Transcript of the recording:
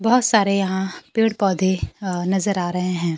बहुत सारे यहां पेड़ पौधे अह नजर आ रहे हैं।